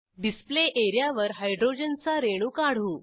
display area वर hydrogen चा रेणू काढू